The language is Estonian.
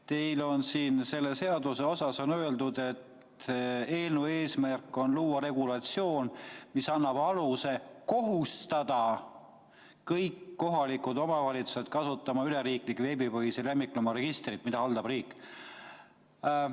Teil on siin selle seaduse kohta öeldud, et eelnõu eesmärk on luua regulatsioon, mis annab aluse kohustada kõiki kohalikke omavalitsusi kasutama üleriigilist veebipõhist lemmikloomaregistrit, mida haldab riik.